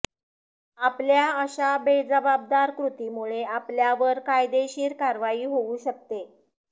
अापल्या अशा बेजबाबदार कृतीमुळे आपल्यावर कायदेशीर कारवाई होऊ शकते